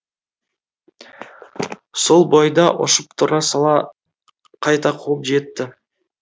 сол бойда ұшып тұра сала қайта қуып жетті